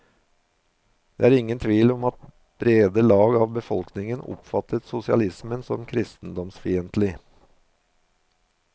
Det er ingen tvil om at brede lag av befolkningen oppfattet sosialismen som kristendomsfientlig.